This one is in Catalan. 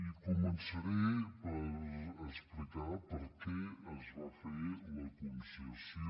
i començaré per explicar per què es va fer la conces·sió